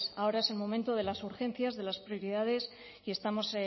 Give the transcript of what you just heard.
ahora es el momento de las urgencias de las prioridades y estamos